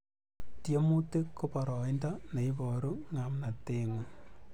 Tiemutik ko boroindo ne iboru ngamnatengung